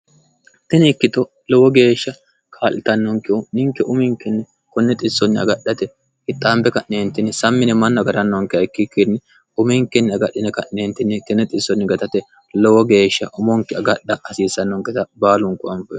tini ikkito lowo geeshsha kaa'litannonkihu ninke uminkinni kunne xissonni agadhate kixxaambe ka'neentinni sammine mannu agarannonkeha ikkikkinni uminkinni agadhine ka'neentinni kine xissonni gaxate lowo geeshsha omonke agadha hasiissannonketa baalunku ane